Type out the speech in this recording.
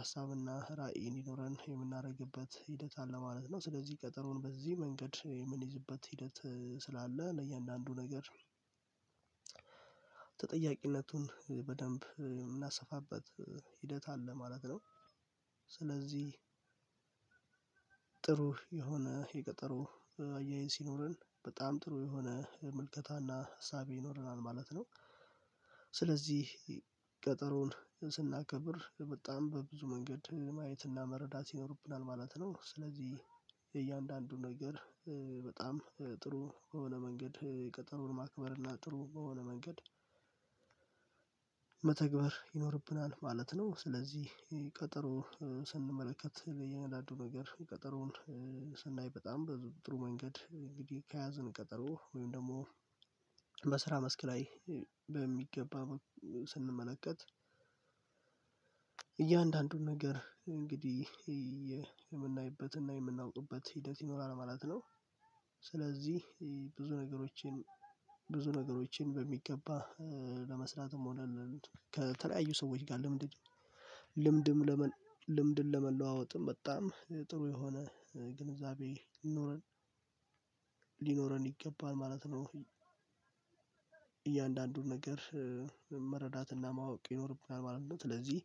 ሀሳብና ራዕይ እንዲኖረን የምናደርግበት ሂደት አለ ማለት ነው። ስለዚህ ቀጠሮን በዚህ መንገድ የምንይዝበት ሂደት ስላለ ለእያንዳንዱ ነገር ተጠያቂነቱን በደንብ የምናሰፋበት ሂደት አለ ማለት ነው። ስለዚህ ጥሩ የሆነ የቀጠሮ አያይዝ ሲኖረን በጣም ጥሩ የሆነ ምልከታና እሳቤ ይኖረናል ማለት ነው። ስለዚህ ቀጠሮን ስናከብር በጣም በብዙ መንገድ ማየትና መረዳት ይኖርብናል ማለት ነው። ስለዚህ የእያንዳንዱ ነገር በጣም ጥሩ በሆነ መንገድ ቀጠሮን ማክበር እና ጥሩ በሆነ መንገድ መተግበር ይኖርብናል ማለት ነው። ስለዚህ ቀጠሮ ስንመለከት እያንዳንዱ ነገር ቀጠሮውን ስናይ በጣም በጥሩ መንገድ እንግዲህ ከያዘን ቀጠሮ ወይም ደግሞ በስራ መስክ ላይ በሚገባ ስንመለከት እያንዳንዱን ነገር እንግዲህ የምናይበትና የምናውጡበት ሂደት ይኖራል ማለት ነው። ስለዚህ ብዙ ነገሮችን ብዙ ነገሮችን በሚገባ ለመስራትም ሆነ ከተለያዩ ሰዎች ጋር ልምድ ልምድን ለመለዋወጥም በጣም ጥሩ የሆነ ግንዛቤ ሊኖረን ሊኖረን ይገባል ማለት ነው። እያንዳንዱን ነገር መረዳትና ማወቅ ይኖርብናል ማለት ነው። ስለዚህ